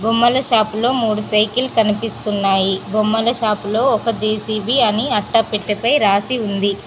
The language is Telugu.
బొమ్మల షాపు లో మూడు సైకిల్ కనిపిస్తున్నాయి బొమ్మల షాపులో ఒక జె_సి_బి అని అట్టపెట్టపై రాసి ఉంది.